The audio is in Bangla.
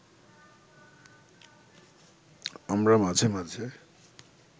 আমরা মাঝে মাঝে